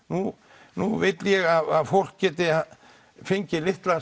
nú nú vil ég að fólk geti fengið litlar